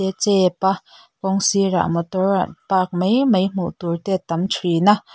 chep a kawng sirah motor park mai mai hmuh tur te a tam thin a.